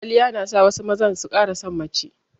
Kwaliya na sa wasu mazan su ƙara san mace